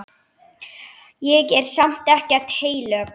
Ég er samt ekkert heilög.